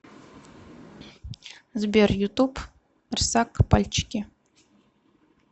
сбер ютуб рсак пальчики